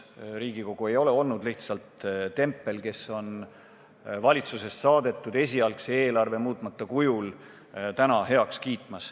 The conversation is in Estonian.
Riigikogu ei ole olnud lihtsalt tempel, kes hakkab valitsusest saadetud esialgset eelarvet muutmata kujul täna heaks kiitma.